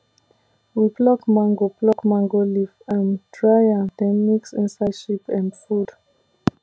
we pluck mango pluck mango leaf um dry am then mix inside sheep um food